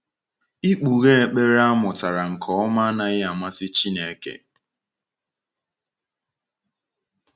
Ikpughe ekpere a mụtara nke ọma anaghị amasị Chineke.